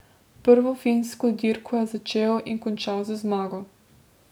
Prvo finsko dirko je začel in končal z zmago.